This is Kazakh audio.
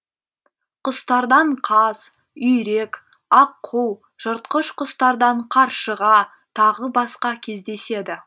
құстардан қаз үйрек аққу жыртқыш құстардан қаршыға тағы басқа кездеседі